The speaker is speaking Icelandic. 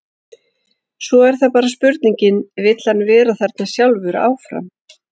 Svo er það bara spurningin, vill hann vera þarna sjálfur áfram?